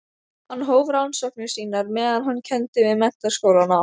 Hann hóf rannsóknir sínar meðan hann kenndi við Menntaskólann á